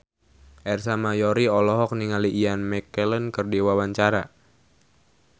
Ersa Mayori olohok ningali Ian McKellen keur diwawancara